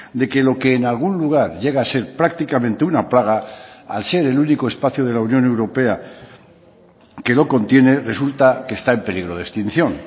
de que lo que en algún lugar llega a ser prácticamente una plaga al ser el único espacio de la unión europea que lo contiene resulta que está en peligro de extinción